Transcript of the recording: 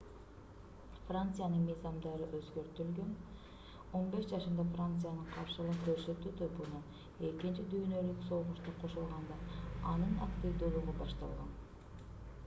франциянын мыйзамдары өзгөртүлгөн 15 жашында франциянын каршылык көрсөтүү тобуна экинчи дүйнөлүк согушта кошулганда анын активдүүлүгү башталган